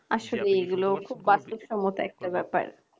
আসলে এগুলো খুব সম্মত একটা ব্যাপার।